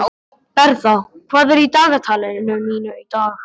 Bertha, hvað er í dagatalinu mínu í dag?